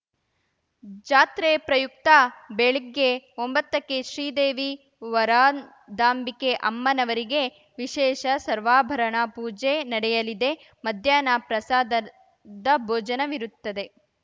ಜಾತ್ರೆ ಪ್ರಯುಕ್ತ ಬೆಳಿಗ್ಗೆ ಒಂಬತ್ತಕ್ಕೆ ಶ್ರೀದೇವಿ ವರದಾಂಬಿಕೆ ಅಮ್ಮನವರಿಗೆ ವಿಶೇಷ ಸರ್ವಾಭರಣ ಪೂಜೆ ನಡೆಯಲಿದೆ ಮಧ್ಯಾಹ್ನ ಪ್ರಸಾದದ ಭೋಜನವಿರುತ್ತದೆ